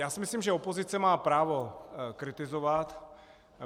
Já si myslím, že opozice má právo kritizovat.